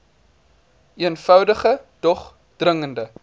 eenvoudige dog dringende